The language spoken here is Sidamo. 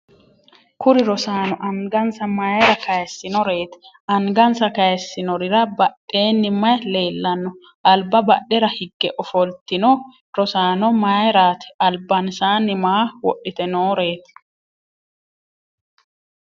kuri rosaano angansa mayeera kayeessinoreeti? angansa kayeessinorira badheeni maye leellanno? alaba badhera higge ofoltino rosaano maayeeraati? albaansaani maa wodhite nooreeti?